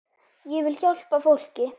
Ég vil hjálpa fólki.